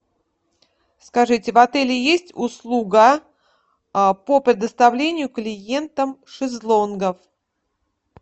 скажите в отеле есть услуга по предоставлению клиентам шезлонгов